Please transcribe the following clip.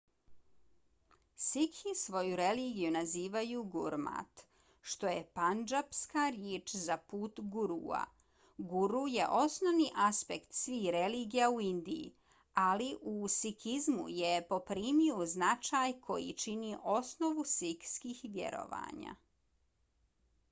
sikhi svoju religiju nazivaju gurmat što je pandžapska riječ za put gurua . guru je osnovni aspekt svih religija u indiji ali u sikizmu je poprimio značaj koji čini osnovu sikhskih vjerovanja